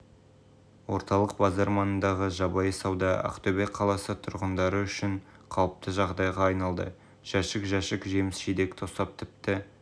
орталық базар маңындағы жабайы сауда ақтөбе қаласы тұрғындары үшін қалыпты жағдайға айналды жәшік-жәшік жеміс-жидек тосап тіпті